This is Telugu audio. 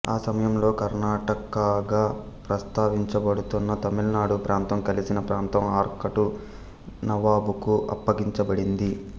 ఆ సమయంలో కర్నాటకాగా ప్రస్తావించబడుతున్న తమిళనాడు ప్రాంతం కలిసిన ప్రాంతం ఆర్కాటు నవాబుకు అప్పగించబడింది